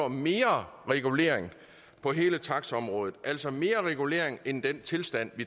mere regulering på hele taxaområdet altså mere regulering end den tilstand